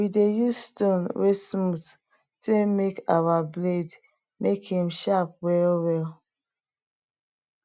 we dey use stone wey smooth take make our blade make em sharp well well